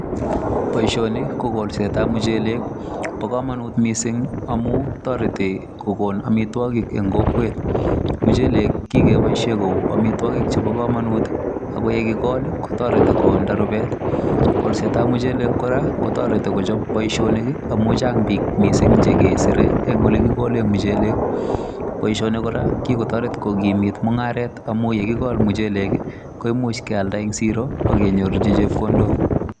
Boisioni ko kolsetab muchelek, bo komonut missing amun toreti kokon amitwokik en kokwet, muchelek kikeboisien koik amitwokik chebo komonut ako yekikol kotoreti koonda rubet, kolsetab muchelek kora kotoreti kochop boisionik amun chang missing biik chekesire en olekikolen muchelek boisioni kora kokikotoret kokimit mung'aret amun yekikol muchelek koimuch kialda en sero akenyorchi chepkondok .